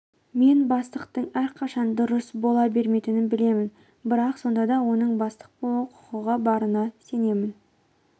мен бастықтың әрқашан дұрыс бола бермейтінін білемін бірақ сонда да оның бастық болуға құқығы барына сенемін